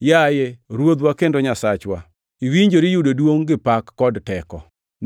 “Yaye Ruodhwa kendo Nyasachwa, iwinjori yudo duongʼ gi pak kod teko,